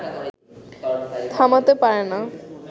থামাতে পারে না